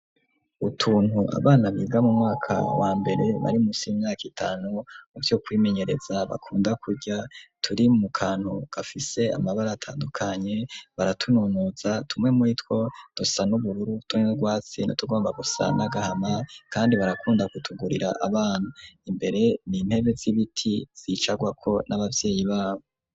Utuntu abana biga mu mwaka wa mbere bari musi y'imyaka itanu muvyo kwimenyereza bakunda kuja turi mu kantu gafise amabara atandukanye baratununuza tumwe muri two dusa n'ubururu utundi n'urwatsi tugomba gusa n'agahama kandi barakunda gutugurira abana, imbere n'intebe z'ibiti zicarwako n'abavyeyi babo.